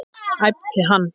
æpti hann.